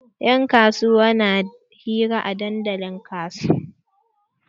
Yan kasuwa na hira a dandalin kasuwa.